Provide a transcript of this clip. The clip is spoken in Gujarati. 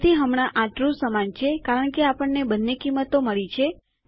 તેથી હમણાં આ ટ્રૂ સમાન છે કારણ કે આપણને બંને કિંમતો મળી છે